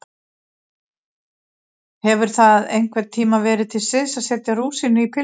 Hefur það einhvern tíma verið til siðs að setja rúsínu í pylsur?